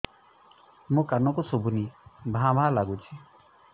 ମୋ କାନକୁ ଶୁଭୁନି ଭା ଭା ଲାଗୁଚି